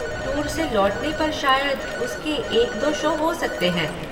Tour से लौटने पर शायद उसके एक दो शो हो सकते हैं।